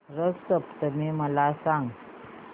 रथ सप्तमी मला सांग